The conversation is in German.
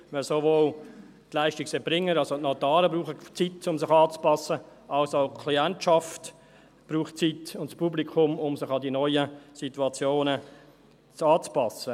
Denn sowohl die Leistungserbringer, also die Notare, als auch die Klientschaft und das Publikum brauchen Zeit, um sich an die neuen Situationen anzupassen.